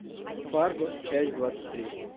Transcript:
фарго часть двадцать три